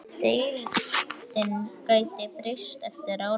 Deildin gæti breyst eftir áramót.